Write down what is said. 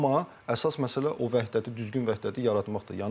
Amma əsas məsələ o vəhdəti düzgün vəhdəti yaratmaqdır.